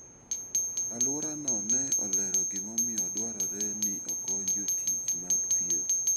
Alworano ne olero gimomiyo dwarore ni okony jotich mag thieth.